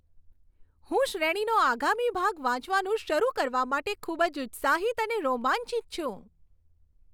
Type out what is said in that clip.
હું શ્રેણીનો આગામી ભાગ વાંચવાનું શરૂ કરવા માટે ખૂબ જ ઉત્સાહિત અને રોમાંચિત છું!